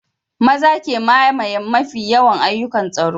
Maza ke mamaye mafi yawan ayyukan tsaro